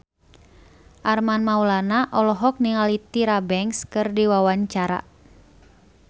Armand Maulana olohok ningali Tyra Banks keur diwawancara